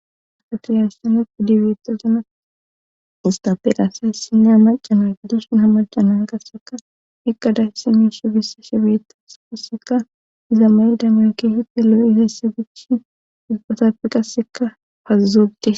afatriyarssanet idibeeto zana istaferasa hessinne hamacana guddushun hamacanan gasseka eqqadayssi miishi bissa shebeetase kasseka iza mayi da merki hite lo7 iheysse gicshin izpatappi qasseka pazuzogde